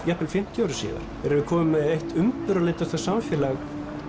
jafnvel fimmtíu árum síðar erum við komin með eitt samfélag